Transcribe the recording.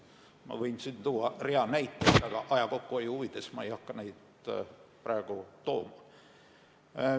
Ma võiksin tuua rea näiteid, aga aja kokkuhoiu huvides ei hakka ma neid praegu tooma.